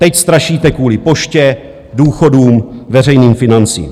Teď strašíte kvůli Poště, důchodům, veřejným financím.